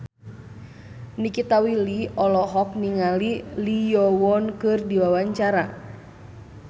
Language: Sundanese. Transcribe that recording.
Nikita Willy olohok ningali Lee Yo Won keur diwawancara